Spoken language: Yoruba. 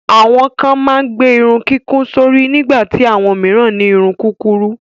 Àwọn kan máa ń gbé irun kíkún sórí nígbà tí àwọn mìíràn ní irun kúkurú.